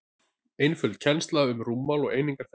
einföld kennsla um rúmmál og einingar þess